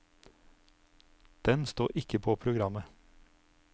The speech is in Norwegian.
Den står ikke på programmet.